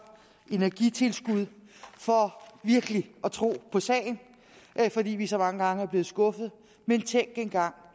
energitilskud for virkelig at tro på sagen fordi vi så mange gange er blevet skuffet men tænk engang